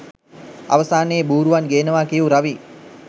අවසානයේ බූරුවන් ගේනවා කියූ රවී